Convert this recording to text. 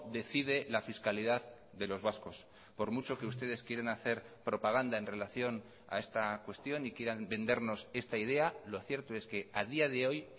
decide la fiscalidad de los vascos por mucho que ustedes quieren hacer propaganda en relación a esta cuestión y quieran vendernos esta idea lo cierto es que a día de hoy